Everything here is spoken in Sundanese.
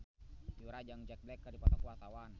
Yura jeung Jack Black keur dipoto ku wartawan